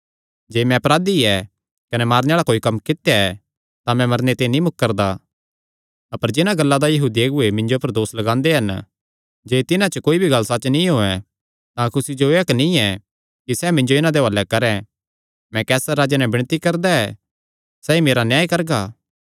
जे मैं अपराधी ऐ कने मारने आल़ा कोई कम्म कित्या ऐ तां मरने ते नीं मुकरदा अपर जिन्हां गल्लां दा यहूदी अगुऐ मिन्जो पर दोस लगांदे हन जे तिन्हां च कोई भी गल्ल सच्च नीं होयैं तां कुसी जो एह़ हक्क नीं ऐ कि सैह़ मिन्जो इन्हां दे हुआलैं करैं मैं कैसर राजे नैं विणती करदा ऐ सैई मेरा न्याय करगा